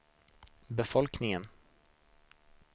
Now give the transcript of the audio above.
befolkningen